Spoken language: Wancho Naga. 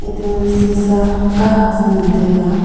ta sisa kahak cha ngan taga.